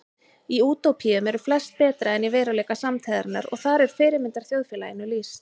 Í útópíum eru flest betra en í veruleika samtíðarinnar og þar er fyrirmyndarþjóðfélaginu lýst.